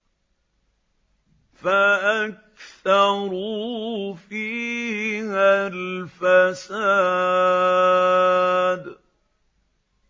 فَأَكْثَرُوا فِيهَا الْفَسَادَ